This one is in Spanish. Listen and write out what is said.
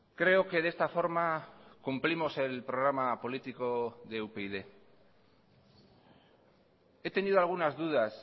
creo que de esta forma cumplimos el programa político de upyd he tenido algunas dudas